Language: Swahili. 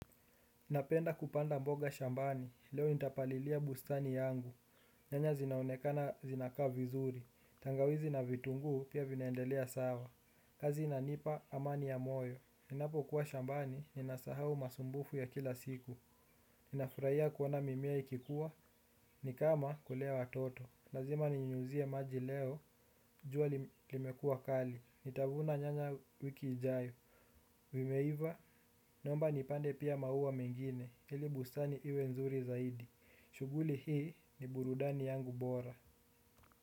Napenda kupanda mboga shambani, leo nitapalilia bustani yangu, nyanya zinaonekana zinakaa vizuri, tangawizi na vitunguu pia vinaendelea sawa. Kazi inanipa amani ya moyo, ninapo kuwa shambani, ninasahau masumbufu ya kila siku, ninafuraiya kuona mimea ikikua, ni kama kulea watoto. Lazima ninyunyizie maji leo, jua li, limekua kali. Nitavuna nyanya wiki ijayo. Vimeiva, naomba nipande pia maua mengine. Ili bustani iwe nzuri zaidi. Shughuli hii ni burudani yangu bora.